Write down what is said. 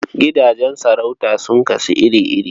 Gidajen sarauta sun kasu iri-iri.